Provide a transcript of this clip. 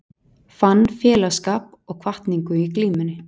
Fann félagsskap og hvatningu í glímunni